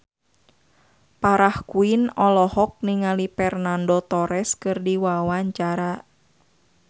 Farah Quinn olohok ningali Fernando Torres keur diwawancara